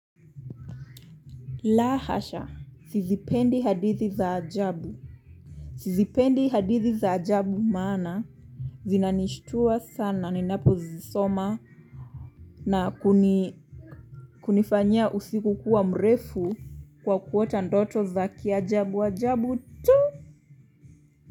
La hasha. Sizipendi hadithi za ajabu. Sizipendi hadithi za ajabu maana zinanishtua sana ninapo zisoma na kunifanyia usiku kuwa mrefu kwa kuota ndoto za kiajabu ajabu tu.